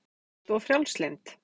Linda: Ekkert of frjálslynd?